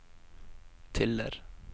Tiller